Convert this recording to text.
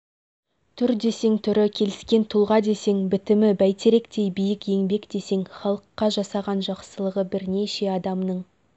түр десең түрі келіскен тұлға десең бітімі бәйтеректей биік еңбек десең халыққа жасаған жақсылығы бірнеше адамнның